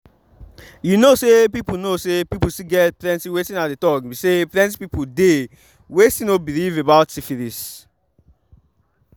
you know say people know say people still get plenty wetin i dey talk be say plenty people dey were still no believe about syphilis.